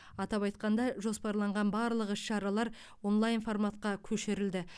атап айтқанда жоспарланған барлық іс шаралар онлайн форматқа көшірілді